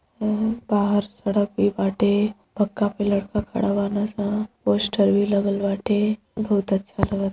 बाहर सड़क भी बाटे पक्का पिलर पर खड़ा बाने सं। पोस्टर भी लगल बाटे बहुत अच्छा --